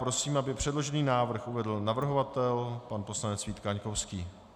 Prosím, aby předložený návrh uvedl navrhovatel pan poslanec Vít Kaňkovský.